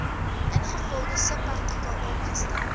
ingevolge subartikel aangestel